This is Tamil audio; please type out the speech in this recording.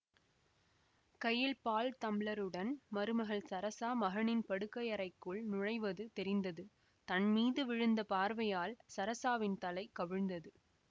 கையில் பால் தம்ளருடன் மருமகள் சரஸா மகனின் படுக்கையறைக்குள் நுழைவது தெரிந்தது தன்மீது விழுந்த பார்வையால் சரஸாவின் தலை கவிழ்ந்தது